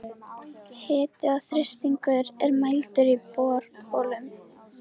Hiti og þrýstingur er mældur í borholum.